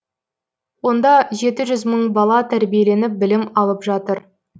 онда жеті жүз мың бала тәрбиеленіп білім алып жатыр